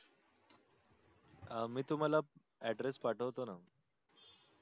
अह मी तुम्हाल address पाठवतो न